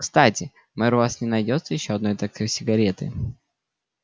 кстати мэр у вас не найдётся ещё одной такой сигары